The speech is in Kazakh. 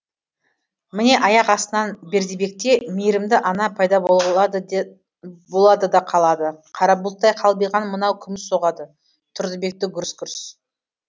міне аяқ астынан бердібекте мейірімді ана пайда болады да қалады қара бұлттай қалбиған мынау күміс соғады тұрдыбекті гүрс гүрс